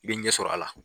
I bɛ ɲɛ sɔrɔ a la